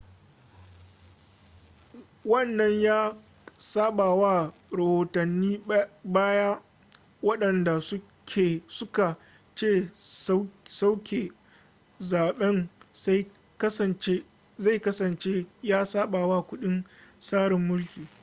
wannan ya sabawa rahotannin baya wadanda suka ce sauke zaben zai kasance ya sabawa kundin tsarin mulki